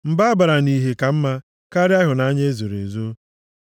Mba abara nʼihe ka mma karịa ịhụnanya ezoro ezo.